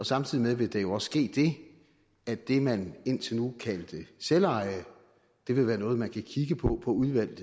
samtidig vil der jo også ske det at det man indtil nu kaldte selveje vil være noget man kan kigge på på udvalgte